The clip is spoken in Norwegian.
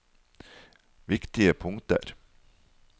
viktige punkter